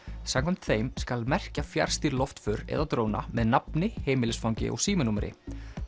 samkvæmt þeim skal merkja fjarstýrð loftför eða dróna með nafni heimilisfangi og símanúmeri